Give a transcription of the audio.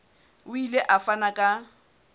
o ile a fana ka